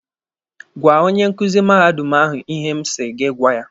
Gwaa onye nkuzi mahadum ahụ ihe m sị gị gwa ya!